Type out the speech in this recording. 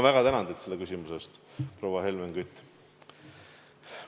Väga tänan teid selle küsimuse eest, proua Helmen Kütt!